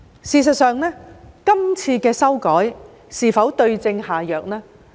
事實上，今次的修改是否對症下藥呢？